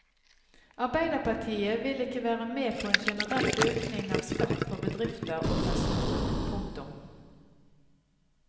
Arbeiderpartiet vil ikke være med på en generell økning av skatt for bedrifter og personer. punktum